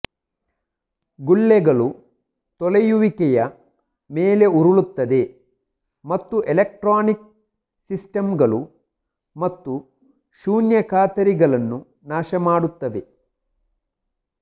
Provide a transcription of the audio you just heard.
ಗುಳ್ಳೆಗಳು ತೊಳೆಯುವಿಕೆಯ ಮೇಲೆ ಉರುಳುತ್ತದೆ ಮತ್ತು ಎಲೆಕ್ಟ್ರಾನಿಕ್ ಸಿಸ್ಟಮ್ಗಳು ಮತ್ತು ಶೂನ್ಯ ಖಾತರಿಗಳನ್ನು ನಾಶಮಾಡುತ್ತವೆ